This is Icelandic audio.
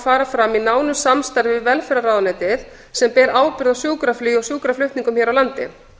fara fram í nánu samstarfi við velferðarráðuneytið sem ber ábyrgð á sjúkraflugi og sjúkraflutningum hér á landi